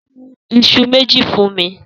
Sun iṣu méjì fún mi.